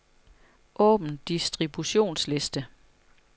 Åbn distributionsliste.